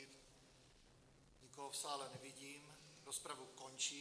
Nikoho v sále nevidím, rozpravu končím.